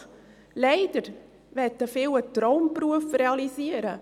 Leider wollen viele einen Traumberuf realisieren.